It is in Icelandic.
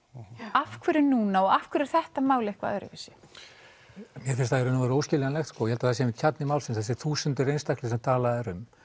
af hverju núna og af hverju er þetta mál eitthvað öðruvísi mér finnst það í raun og veru óskiljanlegt ég held að það sé einmitt kjarni málsins þessir þúsundir einstaklinga sem talað er um